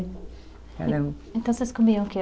Então vocês comiam o que?